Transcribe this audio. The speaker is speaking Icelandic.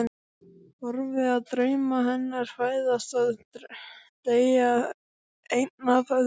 Horfi á drauma hennar fæðast og deyja einn af öðrum.